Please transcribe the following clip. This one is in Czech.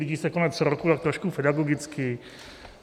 Blíží se konec roku, tak trošku pedagogicky.